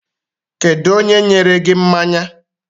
Kedu onye nyere gi mmanya?